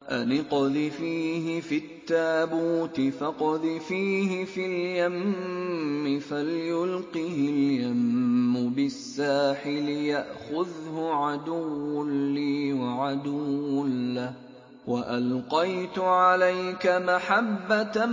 أَنِ اقْذِفِيهِ فِي التَّابُوتِ فَاقْذِفِيهِ فِي الْيَمِّ فَلْيُلْقِهِ الْيَمُّ بِالسَّاحِلِ يَأْخُذْهُ عَدُوٌّ لِّي وَعَدُوٌّ لَّهُ ۚ وَأَلْقَيْتُ عَلَيْكَ مَحَبَّةً